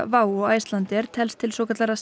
WOW og Icelandair telst til svokallaðra